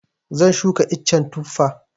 Zan shuka icen Tufa.